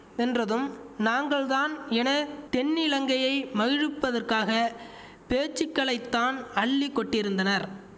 வென்றதும் நாங்கள் தான் என தென்னிலங்கையை மகிழ்விப்பதற்காக பேச்சுக்களைத்தான் அள்ளி கொட்டியிருந்தனார்